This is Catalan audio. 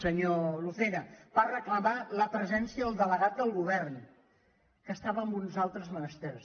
senyor lucena per re·clamar la presència del delegat del govern que es·tava en uns altres menesters